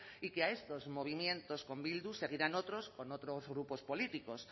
y que a estos movimientos con bildu seguirán otros con otros grupos políticos